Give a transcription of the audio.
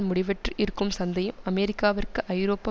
முடிவற்று இருக்கும் சந்தையும் அமெரிக்காவிற்கு ஐரோப்பா